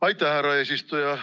Aitäh, härra eesistuja!